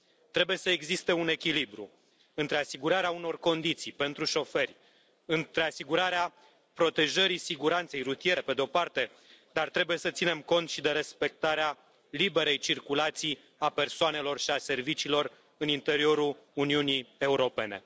Trebuie să existe un echilibru între asigurarea unor condiții pentru șoferi, între asigurarea protejării siguranței rutiere, pe de o parte, dar trebuie să ținem cont și de respectarea liberei circulații a persoanelor și a serviciilor în interiorul Uniunii Europene.